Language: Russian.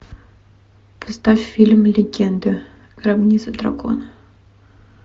поставь фильм легенда гробница дракона